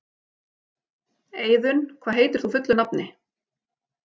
Eiðunn, hvað heitir þú fullu nafni?